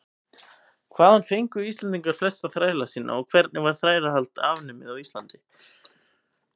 hvaðan fengu íslendingar flesta þræla sína og hvenær var þrælahald afnumið á íslandi